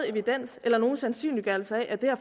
evidens eller nogen sandsynliggørelse af at det her